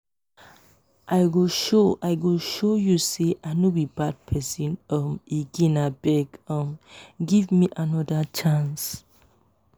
i go show i go show you sey i no be bad pesin um again abeg um give me anoda chance.